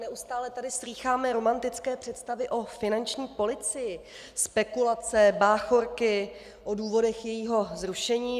Neustále tady slýcháme romantické představy o finanční policii, spekulace, báchorky o důvodech jejího zrušení.